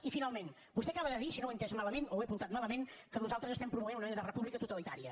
i finalment vostè acaba de dir si no ho he entès malament o ho he apuntat malament que nosaltres promovem una mena de república totalitària